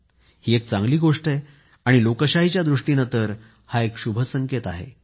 ही एक चांगली गोष्ट आहे आणि लोकशाहीच्या दृष्टीनं तर हा एक शुभसंकेत आहे